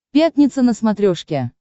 пятница на смотрешке